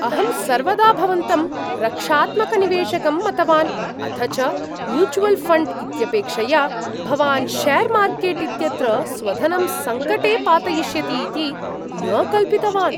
अहं सर्वदा भवन्तं रक्षात्मकनिवेशकम् मतवान्, अथ च म्यूचुयल् ऴण्ड् इत्यपेक्षया भवान् शेर् मार्केट् इत्यत्र स्वधनं सङ्कटे पातयिष्यति इति न कल्पितवान्।